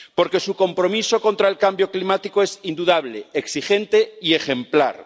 Porque su compromiso contra el cambio climático es indudable, exigente y ejemplar.